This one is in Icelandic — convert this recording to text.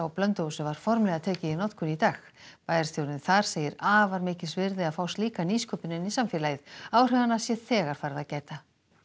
Blönduósi var formlega tekið í notkun í dag bæjarstjórinn þar segir afar mikils virði að fá slíka nýsköpun inn í samfélagið áhrifanna sé þegar farið að gæta